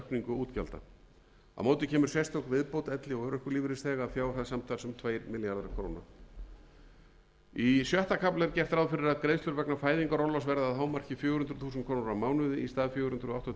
útgjalda á móti kemur sérstök viðbót elli og örorkulífeyrisþega að fjárhæð samtals um tveir milljarðar króna í sjötta kafla er gert ráð fyrir að greiðslur vegna fæðingarorlofs verði að hámarki fjögur hundruð þúsund krónur á mánuði í stað fjögur hundruð áttatíu þúsund